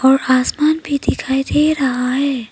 और आसमान भी दिखाई दे रहा हैं।